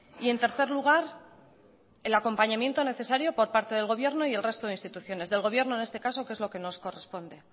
y en tercer lugar el acompañamiento necesario por parte del gobierno y el resto de instituciones del gobierno en este caso que es lo que nos corresponde